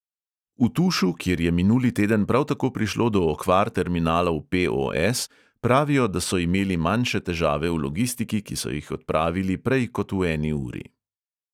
V tušu, kjer je minuli teden prav tako prišlo do okvar terminalov POS, pravijo, da so imeli manjše težave v logistiki, ki so jih odpravili prej kot v eni uri.